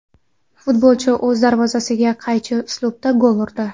Futbolchi o‘z darvozasiga qaychi uslubida gol urdi.